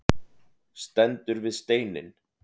Stendur við steininn.